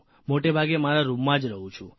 મોટાભાગે મારા રૂમમાં જ રહું છું